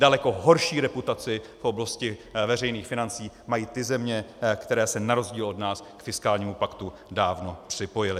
Daleko horší reputaci v oblasti veřejných financí mají ty země, které se na rozdíl od nás k fiskálnímu paktu dávno připojily.